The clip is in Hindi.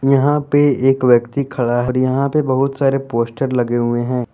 यहां पे एक व्यक्ति खड़ा है और यहां पे बहुत सारे पोस्टर लगे हुए हैं।